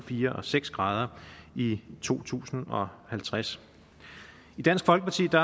fire og seks grader i to tusind og halvtreds i dansk folkeparti er